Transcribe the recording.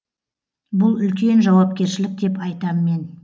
бұл үлкен жауапкершілік деп айтам мен